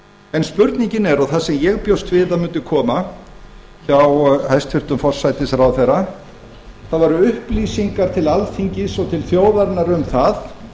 en spurningin er og það sem ég bjóst við að mundi koma hjá hæstvirtum forsætisráðherra það voru upplýsingar til alþingis og til þjóðarinnar um það